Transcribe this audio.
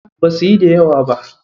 Basuyi da yawa ba.